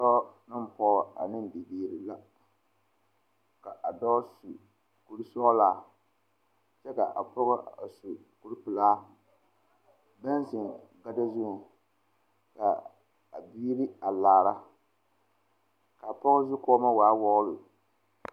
Dɔɔ ane pɔge la a are ka mine zeŋ ba seɛŋ kaa dɔɔ a zeŋ teŋa kaa pɔgɔ a kyaaroo kaa pɔgɔba laara kaa dɔɔ meŋ a laara kaa dɔɔ su bompeɛle kaa pɔge meŋ su bomdɔre